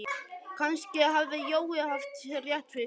Kannski hafði Jói haft rétt fyrir sér.